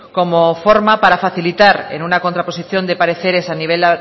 como forma para facilitar en una contraposición de pareceres a nivel